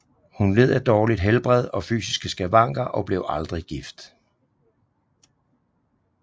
Hun led af dårligt helbred og fysiske skavanker og blev aldrig gift